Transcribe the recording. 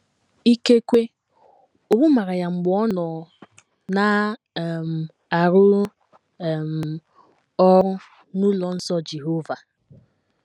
Ikekwe, owu mara ya mgbe ọ nọ na - um arụ um ọrụ n’ụlọ nsọ Jehova.